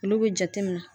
Olu bɛ jate